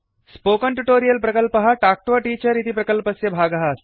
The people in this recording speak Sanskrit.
स्पोकन ट्युटोरियल प्रकल्पः टाक् टु अ टीचर इति प्रकल्पस्य भागः अस्ति